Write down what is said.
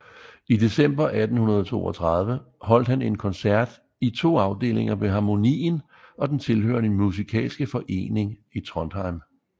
I december 1832 holdt han en koncert i to afdelinger ved Harmonien og den tilhørende Musicalske Forening i Trondheim